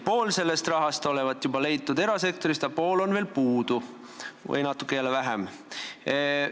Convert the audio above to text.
Pool sellest rahast olevat juba leitud erasektorist, aga pool või jälle natuke vähem olevat puudu.